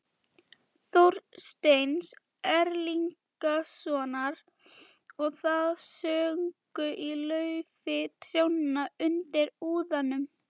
Þorsteins Erlingssonar, og það söng í laufi trjánna undir úðanum.